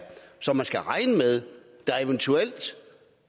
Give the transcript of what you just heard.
som vi skal regne med eventuelt